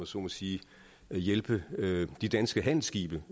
så må sige at hjælpe de danske handelsskibe